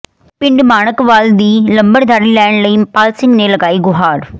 ਪਿੰਡ ਮਾਣਕਵਾਲ ਦੀ ਲੰਬੜਦਾਰੀ ਲੈਣ ਲਈ ਪਾਲ ਸਿੰਘ ਨੇ ਲਗਾਈ ਗੁਹਾਰ